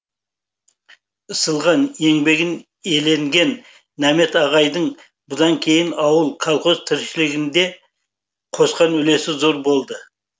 ысылған еңбегін еленген нәмет ағайдың бұдан кейін ауыл колхоз тіршілігіне де қосқан үлесі зор болды